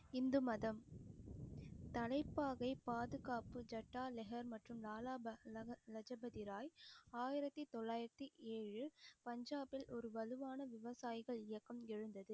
இந்து மதம் தலைப்பாகை பாதுகாப்பு மற்றும் லஜபதி ராய் ஆயிரத்தி தொள்ளாயிரத்தி ஏழு பஞ்சாபில் ஒரு வலுவான விவசாயிகள் இயக்கம் எழுந்தது